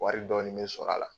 Wari dɔɔni mi sɔr'a la.